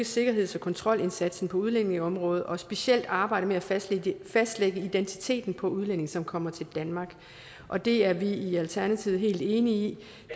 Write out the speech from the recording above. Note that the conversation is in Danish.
sikkerheds og kontrolindsatsen på udlændingeområdet og specielt arbejde med at fastlægge fastlægge identiteten på udlændinge som kommer til danmark og det er vi i alternativet helt enige i